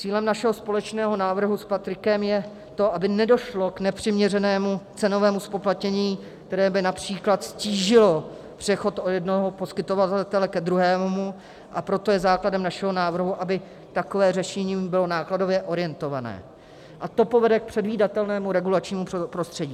Cílem našeho společného návrhu s Patrikem je to, aby nedošlo k nepřiměřenému cenovému zpoplatnění, které by například ztížilo přechod od jednoho poskytovatele ke druhému, a proto je základem našeho návrhu, aby takové řešení bylo nákladově orientované, a to povede k předvídatelnému regulačnímu prostředí.